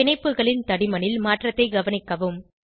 பிணைப்புகளின் தடிமனில் மாற்றத்தை கவனிக்கவும்